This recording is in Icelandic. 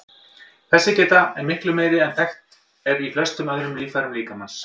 Þessi geta er miklu meiri en þekkt er í flestum öðrum líffærum líkamans.